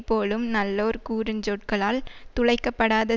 போலும் நல்லோர் கூறு சொற்களால் துளைக்க படாத